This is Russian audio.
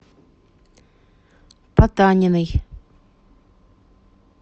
потаниной